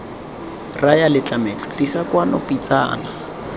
raya letlametlo tlisa kwano pitsana